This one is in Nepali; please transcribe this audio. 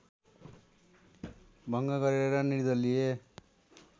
भङ्ग गरेर निर्दलीय